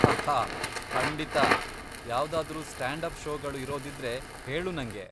ಹಹ್ಹಾ ಖಂಡಿತಾ! ಯಾವ್ದಾದ್ರೂ stand up ಷೋಗಳು ಇರೋದಿದ್ರೆ ಹೇಳು ನಂಗೆ.